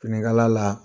Finikala la